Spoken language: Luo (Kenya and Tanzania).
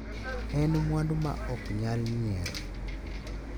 En mwandu ma ok nyal nyier.